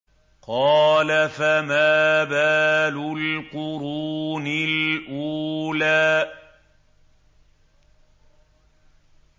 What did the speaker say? قَالَ فَمَا بَالُ الْقُرُونِ الْأُولَىٰ